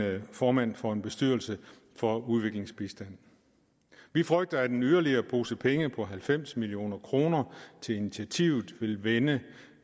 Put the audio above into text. formand for en bestyrelse for udviklingsbistand vi frygter at en yderligere pose penge på halvfems million kroner til initiativet vil vende